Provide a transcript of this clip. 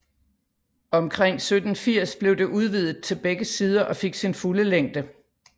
Omkring 1780 blev det udvidet til begge sider og fik sin fulde længde